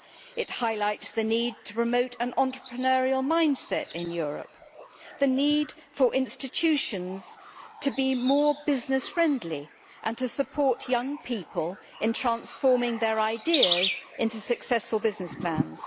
It highlights the need to promote an entrepreneurial mindset in Europe the need for institutions to be more business-friendly and to support young people in transforming their ideas into successful business plans.